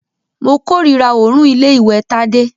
Mo kòrira òórùn ilé ìwẹ̀ Tádé.